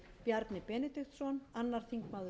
bjarni benediktsson annar þingmaður suðvesturkjördæmis